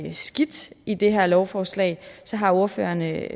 er skidt i det her lovforslag har ordførerne